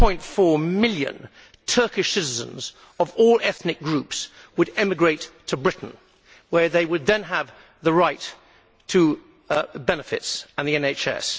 4.4 million Turkish citizens, of all ethnic groups, would emigrate to Britain, where they would then have the right to benefits and the NHS.